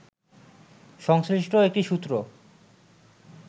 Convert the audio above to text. সংশ্লিষ্ট একটি সূত্র